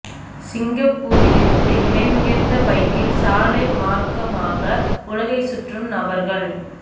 சிங்கப்பூரில் இருந்து விலை உயர்ந்த பைக்கில் சாலை மார்க்கமாக உலகை சுற்றும் நபர்கள்